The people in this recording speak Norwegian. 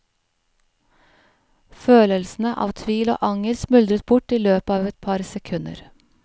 Følelsene av tvil og anger smuldret bort i løpet av et par sekunder.